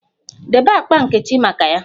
Debe akpa nkechi maka ya!